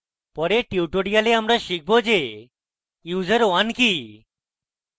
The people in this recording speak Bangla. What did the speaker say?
পরের tutorial আমরা শিখব/user/1 কি